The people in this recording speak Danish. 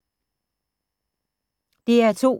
DR2